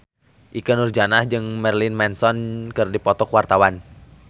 Ikke Nurjanah jeung Marilyn Manson keur dipoto ku wartawan